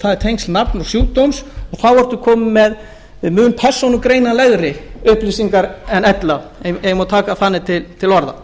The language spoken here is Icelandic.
er tengt sjúkdómi og þá er maður kominn með mun persónugreinanlegri upplýsingar en ella ef ég má taka þannig til orða